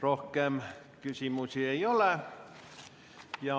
Rohkem küsimusi ei ole.